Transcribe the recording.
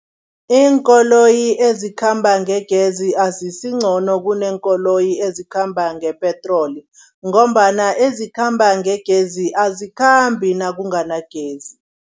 Iinkoloyi ezikhamba ngegezi azisingcono kuneenkoloyi ezikhamba ngepetroli ngombana, ezikhamba ngegezi azikhambi nakunganagezi.